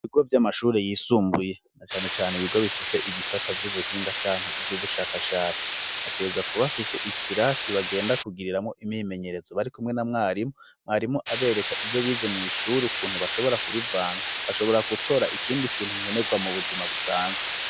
ibigo vy'amashuri yisumbuye cane cyane ibigo bifise ibisata vy'ubuhinga canke iby'ubushakashatsi bategerza kuba afise ikirasi bagenda kugiriramwo imyimenyerezo bari kumwe na mwarimu mwarimu abereka ibyo bize mu ishuri ukuntu bashobora kubivanga bashobora gutora ikindi kintu nkenegwa mu buzima busanzwe